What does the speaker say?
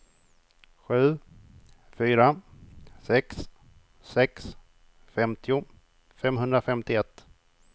sju fyra sex sex femtio femhundrafemtioett